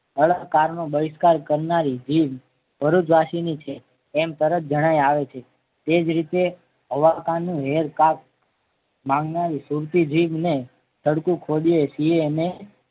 ળ કારનો બહિષ્કાર કરનારી ભીમ ભરૂચ વાસી ની છે એમ તરત જણાય આવે છે તે જ રીતે હવકારનું હેરકાટ માગનારી સુરતી જીભને સરખું ખોદીએ છીએ ને.